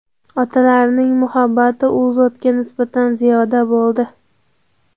Otalarining muhabbati u zotga nisbatan ziyoda bo‘ldi.